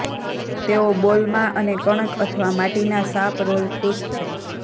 તેઓ બોલમાં અને કણક અથવા માટીના સાપ રોલ ખુશ છે